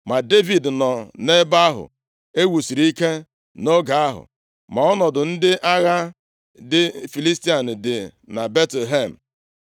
Ma Devid nọ nʼebe ahụ ewusiri ike nʼoge ahụ, ma ọnọdụ ndị agha ndị Filistia dị na Betlehem.